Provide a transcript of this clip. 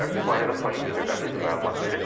Bu barədə Politico qəzeti məlumat verib.